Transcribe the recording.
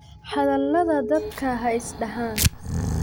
Hadhaladha dadka xaisdaxan .